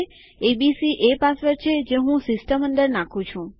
ABC એ password છે જે હું સિસ્ટમ અંદર નાખું છું